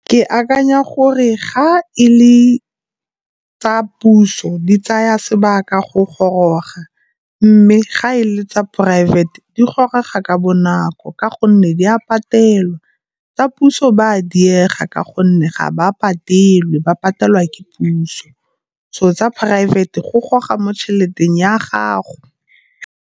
Ke akanya gore ga e le tsa puso di tsaya sebaka go goroga mme ga e le tsa poraefete di gore ga ka bonako ka gonne di a patelwa. Tsa puso ba a diega ka gonne ga ba patelwa, ba patelwa ke puso so tsa poraefete go goga mo tšhelete ya gago.